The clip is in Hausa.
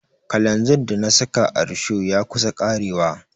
Kalanzir da na saka a risho ya kusa ƙarewa.